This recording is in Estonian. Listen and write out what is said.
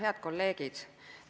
Head kolleegid!